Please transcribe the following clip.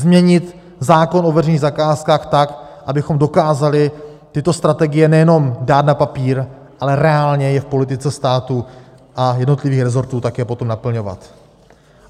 Změnit zákon o veřejných zakázkách tak, abychom dokázali tyto strategie nejenom dát na papír, ale reálně je v politice státu a jednotlivých rezortů také potom naplňovat.